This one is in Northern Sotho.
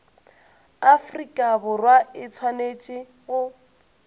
afrika borwa e swanetše go